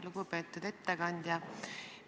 Lugupeetud ettekandja!